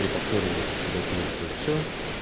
при повторе мм блокируется все